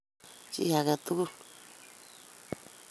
Chi age tugul.